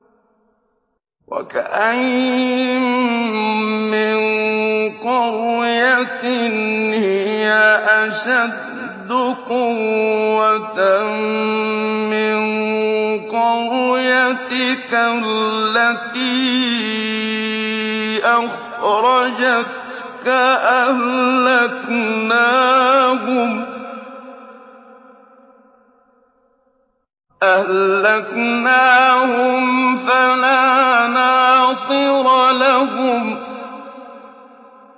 وَكَأَيِّن مِّن قَرْيَةٍ هِيَ أَشَدُّ قُوَّةً مِّن قَرْيَتِكَ الَّتِي أَخْرَجَتْكَ أَهْلَكْنَاهُمْ فَلَا نَاصِرَ لَهُمْ